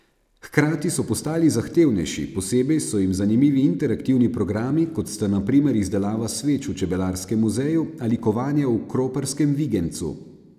Hkrati so postali zahtevnejši, posebej so jim zanimivi interaktivni programi, kot sta na primer izdelava sveč v čebelarskem muzeju ali kovanje v kroparskem vigenjcu.